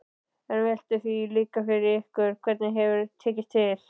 En veltið því líka fyrir ykkur hvernig hefur tekist til?